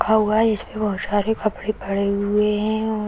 इसपे बहुत सारे कपड़े पड़े हुए हैं और --